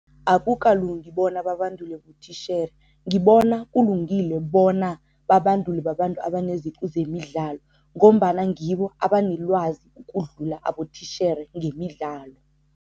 Akukalungi bona babandulwe botitjhere. Ngibona kulungile bona babandulwe babantu abaneziqu zemidlalo ngombana ngibo abanelwazi ukudlula abotitjhere ngemidlalo.